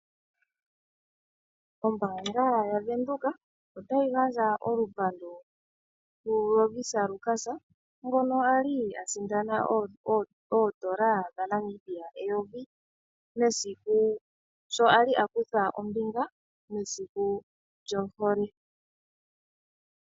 Ombaanga yaVenduka otayi gandja olupandu kuLovisa Lukas ngono ali a sindana oondola dhaNamibia eyovi mesiku sho ali a kutha ombinga mesiku lyohole.